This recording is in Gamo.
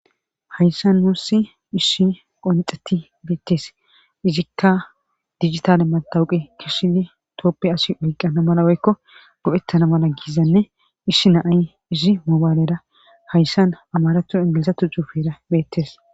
Hayssa nuussi ishi qonxeti beettes izikka dijitale matawuqe kishiye tooppe asi oyqqana mala oykko go'ttana mala giizanne ishi naay izi mobaalera hayssan amaratu ingilizatu zuufeera beettes.